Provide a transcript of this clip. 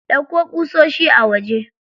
Ɗauko ƙusoshi a waje.